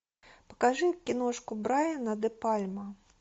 покажи киношку брайана де пальма